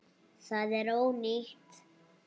Það er ónýtt.